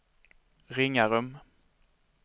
Ringarum